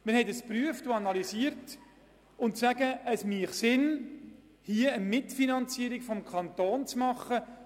Mit der Überprüfung und Analyse kamen wir zum Schluss, dass es Sinn macht, eine Mitfinanzierung durch den Kanton zu ermöglichen.